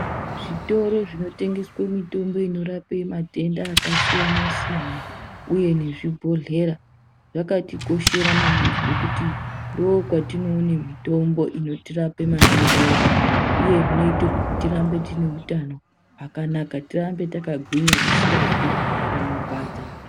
Zvitoro zvinotengeswa mitombo inorape matenda akasiyana siyana uye nezvibhedhlera zvakati koshera maningi ngekuti ndoo kwati noona mitombo inotirape matenda edu uye zvinoita kuti tive neutano hwakanaka tirambe takagwinya tisingazwi panorwadza.